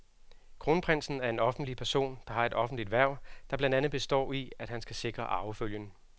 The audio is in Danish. Kronprinsen er en offentlig person, der har et offentligt hverv, der blandt andet består i, at han skal sikre arvefølgen.